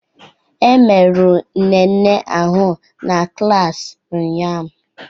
E merụrụ Nene ahụ n'klas ụnyaahụ